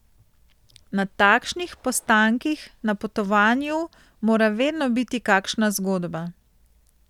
Na takšnih postankih na potovanju mora vedno biti kakšna zgodba.